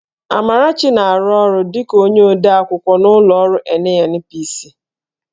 Amarachi na-arụ ọrụ dịka onye odeakwụkwọ n'ụlọ ọrụ NNPC